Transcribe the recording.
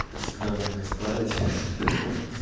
это всегда можно исправить